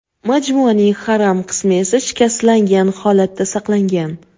Majmuaning haram qismi esa shikastlangan holatda saqlangan.